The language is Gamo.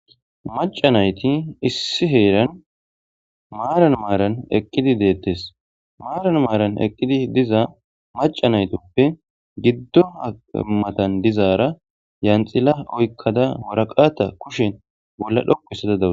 Macca naytti issi heeran maaran maaran eqiddi detes maran eqidiussatappe giddon eqazza dizzara yanxilla oyqda warqata kushen xoqistada daws.